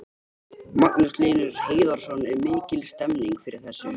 Magnús Hlynur Hreiðarsson: Er mikil stemning fyrir þessu?